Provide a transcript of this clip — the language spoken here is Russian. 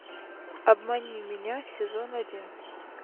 обмани меня сезон один